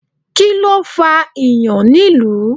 Kíló fà ìyàn nílùú?